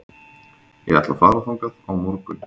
Ég ætla að fara þangað á morgun.